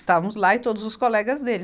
Estávamos lá e todos os colegas dele.